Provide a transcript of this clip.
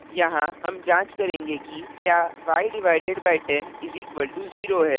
यहाँ हम जांच करेंगे कि क्या y/10 = 0 है